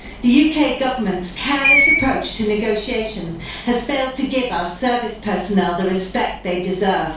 The UK Government's careless approach to negotiations has failed to give our service personnel the respect they deserve.